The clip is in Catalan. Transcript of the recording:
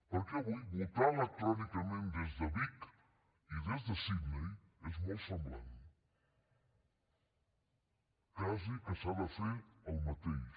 perquè avui votar electrònicament des de vic i des de sidney és molt semblant quasi que s’ha de fer el mateix